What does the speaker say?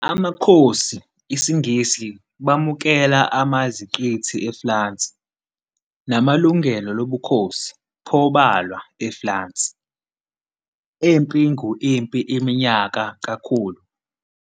Amakhosi isiNgisi, bamukela amaiziqithi eFulansi, namalungelo lobukhosi, pho balwa eFulansi, empi ngu-Impi Iminyaka Kakhulu.